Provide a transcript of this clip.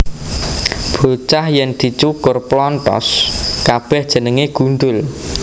Bocah yèn dicukur plonthos kabèh jenengé gundhul